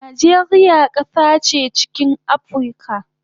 Najeriya kasa che chikin Aprica